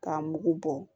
K'a mugu bɔ